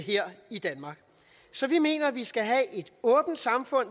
her i danmark så vi mener at vi skal have et åbent samfund